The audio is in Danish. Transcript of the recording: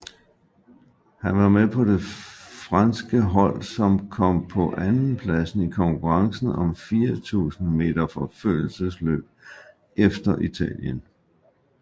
Han var med på det franske hold som kom på en andenplads i konkurrencen i 4000 meter forfølgelsesløb efter Italien